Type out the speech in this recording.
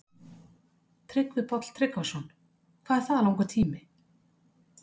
Tryggvi Páll Tryggvason: Hvað er það langur tími?